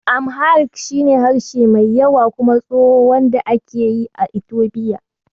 Amharic shi ne harshe mai yawa kuma tsoho, wand ake yi a Itofiya.